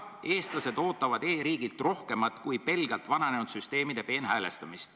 Eestlased ootavad e-riigilt rohkemat kui pelgalt vananenud süsteemide peenhäälestamist.